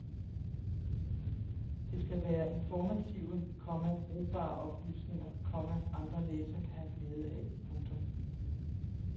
Det skal være informative, komma brugbare oplysninger, komma andre læsere kan have glæde af. punktum